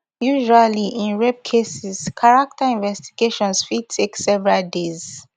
usually in rape cases character investigations fit take several days